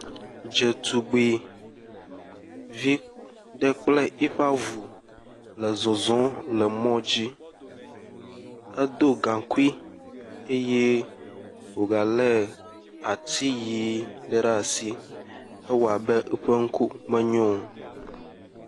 Dzetugbuivi ɖe kple yi ƒe avu le zɔzɔm le mɔ dzi, edo gaŋkui eye wogalé at iyi ɖe ɖe asi ewɔ abe eƒe ŋku menyo o. Yevunyɔnu ɖe kple eƒe avu wozɔ yina gake nyeɔnu la mele nu kpɔm nyuie o, atiwo tse le fi mi, atiwo tse le amadede gbemu ƒe nɔnɔme me, eye wotu dziƒo xɔ ɖe teƒa.